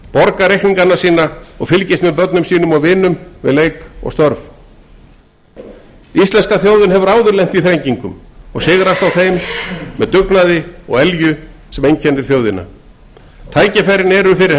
borgar reikninga og fylgist með börnum sínum og vinum við leik og störf þessi þjóð hefur áður lent í þrengingum og sigrast á þeim með þeim dugnaði og elju sem einkennir hana tækifærin eru til